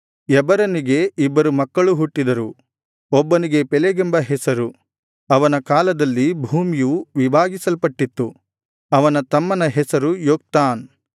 ಎಬರನಿಗೆ ಇಬ್ಬರು ಮಕ್ಕಳು ಹುಟ್ಟಿದರು ಒಬ್ಬನಿಗೆ ಪೆಲೆಗೆಂಬ ಹೆಸರು ಅವನ ಕಾಲದಲ್ಲಿ ಭೂಮಿಯು ವಿಭಾಗಿಸಲ್ಪಟ್ಟಿತ್ತು ಅವನ ತಮ್ಮನ ಹೆಸರು ಯೊಕ್ತಾನ್